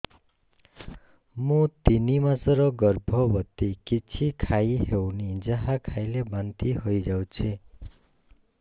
ମୁଁ ତିନି ମାସର ଗର୍ଭବତୀ କିଛି ଖାଇ ହେଉନି ଯାହା ଖାଇଲେ ବାନ୍ତି ହୋଇଯାଉଛି